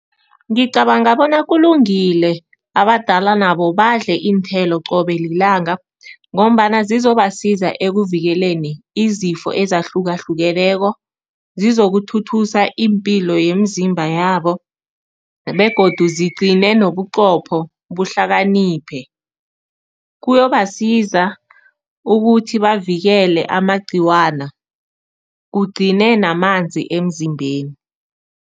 Ngicabanga bona kulungile abadala nabo badle iinthelo qobe lilanga ngombana zizobasiza ekuvikeleni izifo ezahlukahlukeneko, zizokuthuthusa iimpilo yemizimba yabo begodu zigcine nobuqopho buhlakaniphe. Kuyobasiza ukuthi bavikele amagcikwana, kugcine namanzi emzimbeni.